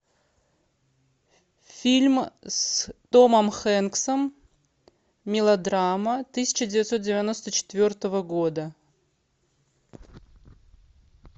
фильм с томом хэнксом мелодрама тысяча девятьсот девяносто четвертого года